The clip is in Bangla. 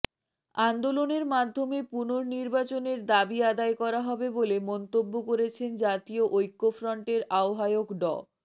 আন্দোলনের মাধ্যমে পুনর্নির্বাচনের দাবি আদায় করা হবে বলে মন্তব্য করেছেন জাতীয় ঐক্যফ্রন্টের আহ্বায়ক ড